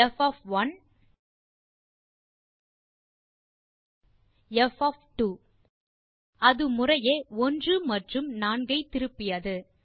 ப் ப் அது முறையே 1 மற்றும் 4 ஐ திருப்பியது